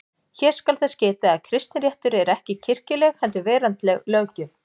Hér skal þess getið að kristinréttur er ekki kirkjuleg heldur veraldleg löggjöf.